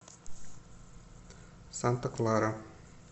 санта клара